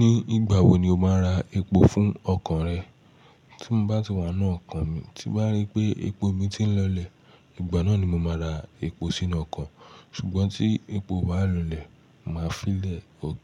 Ní ìgbà wo ni o máa ra epo fún ọkọ̀ rẹ? Tí mo bá ti wà ní ọkọ̀ mi, tí mo bá rí pé epo mi ti ń lọlẹ̀, ìgbà náà ni mo máa ra epo sínú ọkọ̀. Ṣùgbọ́n tí èpoó bá lọlẹ̀, màá fi lè